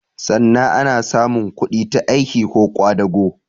Sanna ana samun kudi ta aiki ko ƙwadago